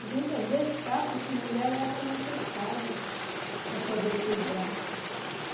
A gente, às vezes, capta essas mulheres leva para nossas casas, para poder cuidar.